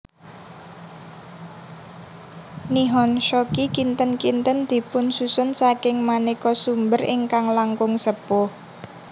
Nihon Shoki kinten kinten dipunsusun saking manéka sumber ingkang langkung sepuh